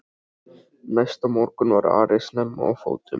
Næsta morgun var Ari snemma á fótum.